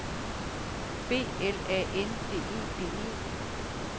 B L A N D E D E